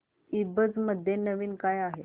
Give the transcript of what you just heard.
ईबझ मध्ये नवीन काय आहे